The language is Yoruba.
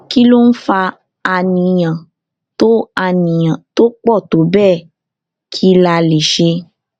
kí ló ń fa àníyàn tó àníyàn tó pò tó béè kí la lè ṣe